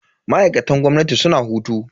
Ma'aikatan gwamnati suna hutu.